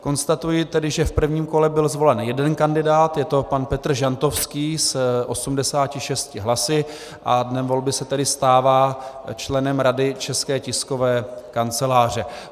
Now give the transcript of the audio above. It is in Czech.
Konstatuji tedy, že v prvním kole byl zvolen jeden kandidát, je to pan Petr Žantovský s 86 hlasy a dnem volby se tedy stává členem Rady České tiskové kanceláře.